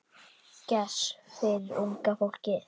Gess fyrir unga fólkið.